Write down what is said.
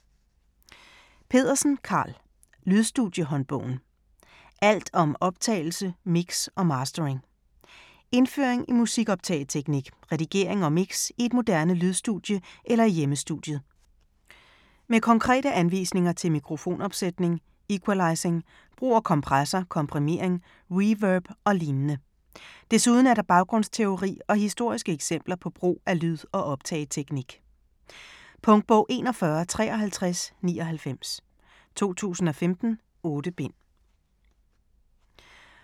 Pedersen, Karl: Lydstudie-håndbogen: alt om optagelse, mix og mastering Indføring i musik-optageteknik, redigering og mix i et moderne lydstudie eller i hjemmestudiet. Med konkrete anvisninger til mikrofonopsætning, equalisering, brug af kompressor, komprimering, reverb og lignende. Desuden er der baggrundsteori og historiske eksempler på brug af lyd- og optageteknik. Punktbog 415399 2015. 8 bind.